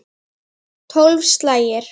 Tólf slagir.